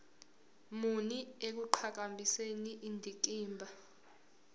muni ekuqhakambiseni indikimba